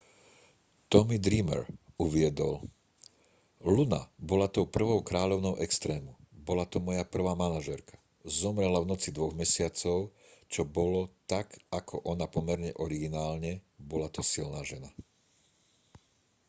tommy dreamer uviedol luna bola tou prvou kráľovnou extrému bola to moja prvá manažérka zomrela v noci dvoch mesiacov čo bolo tak ako ona pomerne originálne bola to silná žena